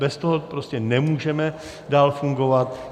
Bez toho prostě nemůžeme dál fungovat.